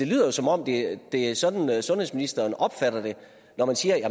lyder som om det er sådan sundhedsministeren opfatter det når man siger at